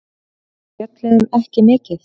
Við spjölluðum ekki mikið.